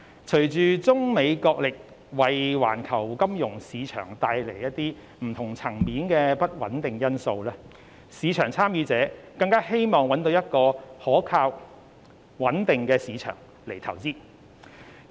隨着中美角力為環球金融市場帶來不同層面的不穩定因素，市場參與者更希望找到可靠和穩定的市場進行投資。